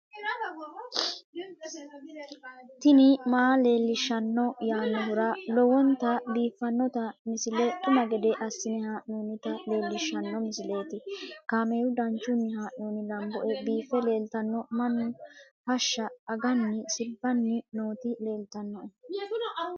tini maa leelishshanno yaannohura lowonta biiffanota misile xuma gede assine haa'noonnita leellishshanno misileeti kaameru danchunni haa'noonni lamboe biiffe leeeltanno mannu hashsha aganni sirbanni nooti leltannoe